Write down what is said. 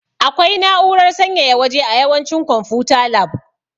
Akwai na'urar sanyaya waje a yawancin konfuta lab.